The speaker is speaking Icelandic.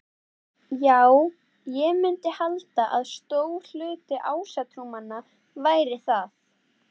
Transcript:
Já, ég myndi halda að stór hluti ásatrúarmanna væri það.